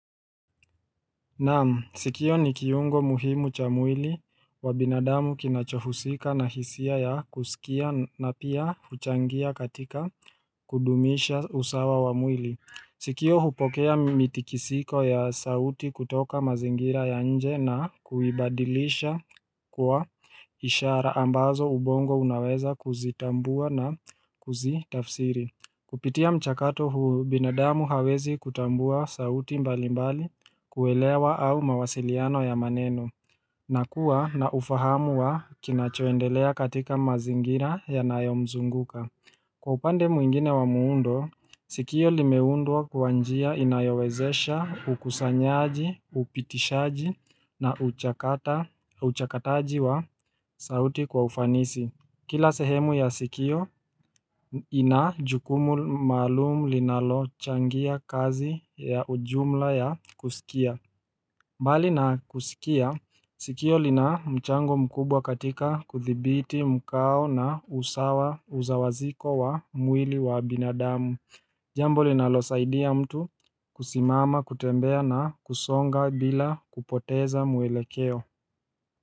Naam sikio ni kiungo muhimu cha mwili wa binadamu kinachohusika na hisia ya kusikia na pia huchangia katika kudumisha usawa wa mwili. Sikio hupokea mitikisiko ya sauti kutoka mazingira ya nje na kuibadilisha kuwa ishara ambazo ubongo unaweza kuzitambua na kuzitafsiri Kupitia mchakato huu, binadamu hawezi kutambua sauti mbali mbali kuelewa au mawasiliano ya maneno na kuwa na ufahamu wa kinachoendelea katika mazingira yanayomzunguka. Kwa upande muingine wa muundo, sikio limeundwa kwa njia inayowezesha ukusanyaji, upitishaji na uchakataji wa sauti kwa ufanisi. Kila sehemu ya sikio, ina jukumu maalumu linalochangia kazi ya ujumla ya kusikia. Mbali na kusikia, sikio lina mchango mkubwa katika kuthibiti mkao na usawaziko wa mwili wa binadamu. Jambo linalosaidia mtu kusimama, kutembea na kusonga bila kupoteza muelekeo.